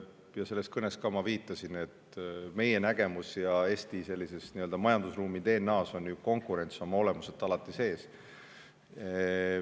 Ja selles kõnes ma viitasin ka, et meie nägemuses ja Eesti sellises nii-öelda majandusruumi DNA-s on ju konkurents oma olemuselt alati sees olnud.